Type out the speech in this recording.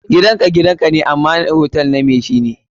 Gidan ka gidan ka ne, amma hote na mai shi ne.